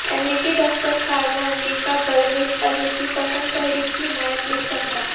امریکی دفتر خارجہ امریکا بلوچ علیحدگی پسند تحریک کی حمایت نہیں کرتا